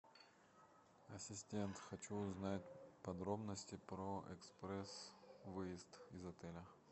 ассистент хочу узнать подробности про экспресс выезд из отеля